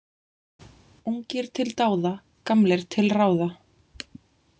Ungir til dáða, gamlir til ráða.